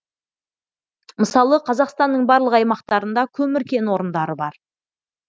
мысалы қазақстанның барлық аймақтарында көмір кен орындары бар